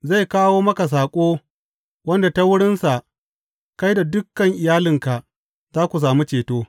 Zai kawo maka saƙo wanda ta wurinsa kai da dukan iyalinka za ku sami ceto.’